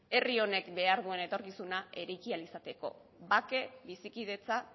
herri honek behar duen etorkizuna eraiki ahal izateko bake bizikidetza